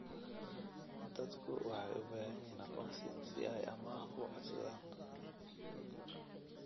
Dadku waxay u baahan yihiin aqoonsi si ay amaah u codsadaan.